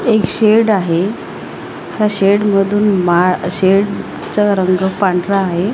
एक शेड आहे त्या शेड मधून मा शेड चा रंग पांढरा आहे.